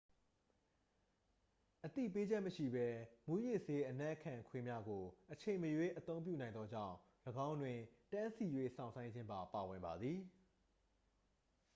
အသိပေးချက်မရှိဘဲ မူးယစ်ဆေး အနံ့ခံခွေးများကို အချိန်မရွေး အသုံးပြုနိုင်သောကြောင့် ၎င်းတွင် တန်းစီ၍ စောင့်ဆိုင်းခြင်းပါ ပါဝင်ပါသည်